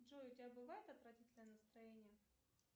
джой у тебя бывает отвратительное настроение